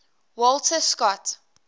walter scott